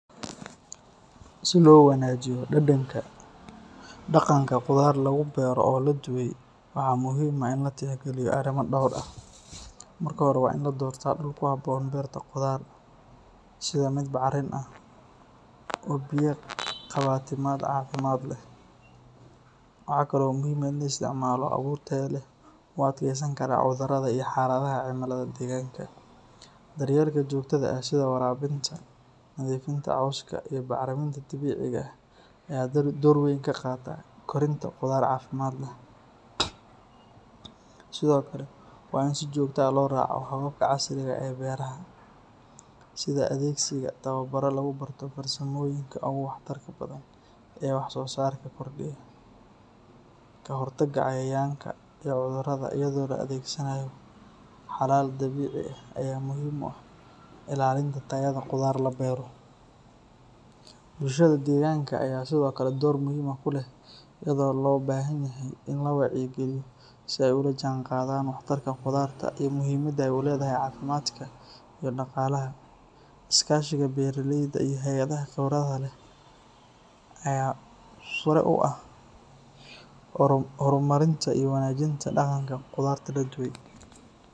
Si lowanagiyo dadanka daganka qudar lagudaro oo laduway, waxa muxiim ah in latix galiyo arima door ah, marka hore wa in ladorta duul kuhaboon berta qudar, sidha mid bacriin ah, oo biya gabta cagimad leh, wahakalo muxiim ah in laisticmalo awuur taya leh oo u adkeysan karaa cudurada iyo cimilada deganka, daryelka jogyada ah sida warabinta iyo galajinta cooska iyo bacraminta dabiciga ah, aya door weyn kagata korinta qudar cafimad leh, Sidhokale wa in si jogta ah oisticmalo hababka casriga ee berta, sida adegsiga tawabaro lagubarto farsamada oo waxtarka leh ee waxsosarka kordiya, kahortaga cayayanka iyo cudurada iyado laadegsanayo halal dabici ah aya muxiim u ah, ilalinta tayada qudar beer, bulshada deganka aya Sidhokale door muxiim kulex iyado lobahanyahay in si ay olajangadan wahtatka qudarta iyo mixiimada uledaha qudarta, iyo daqalaha, iskashiga beraleyda iyo hayadaha aya hore u ah hormarinta iyo wanajinta daganka qudarta laduway.